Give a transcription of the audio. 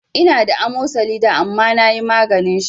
Ina da amosali da amma nayi maganin shi